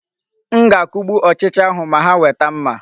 M ga-akugbu ochịcha ahụ ma ha weta mma.